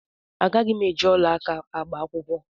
Agaghị m eji ọla aka agba akwụkwọ.